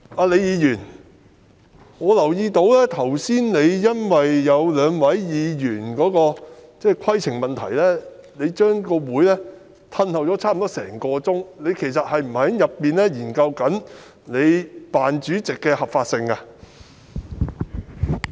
李議員，我留意到，你剛才因為有兩位議員提出規程問題，便將會議延後差不多一個小時，其實你是否在裏面研究你扮主席的合法性？